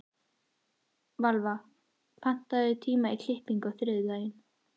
Valva, pantaðu tíma í klippingu á þriðjudaginn.